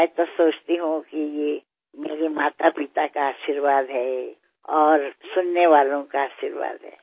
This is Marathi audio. खरेतर मला वाटते की हा माझ्या आईवडिलांचा आशीर्वाद आहे आणि श्रोत्यांचा आशीर्वाद आहे